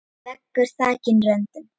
Veggur þakinn röndum.